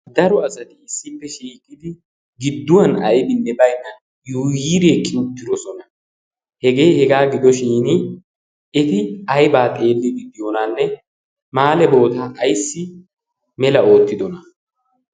daro asati issippe shiiqidi gidduwan aibinne bainna yuuyiree kiuttidosona. hegee hegaa gidoshin eti aibaa xeelli giddiyoonanne maale bootaa aissi mela oottidona?